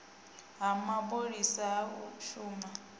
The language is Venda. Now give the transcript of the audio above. ha mapholisa ha u shumela